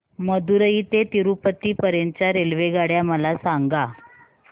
मदुरई ते तिरूपती पर्यंत च्या रेल्वेगाड्या मला सांगा